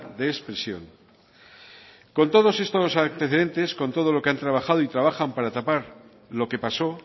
de expresión con todos estos antecedentes con todo lo que han trabajado y trabajan para tapar lo que pasó